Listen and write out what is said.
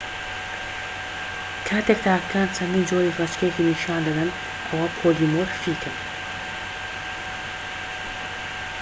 کاتێک تاکەکان چەندین جۆری ڕێچکەیەکی نیشان دەدەن ئەوە پۆلیمۆرفیکن